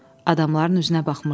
Adamların üzünə baxmışdı.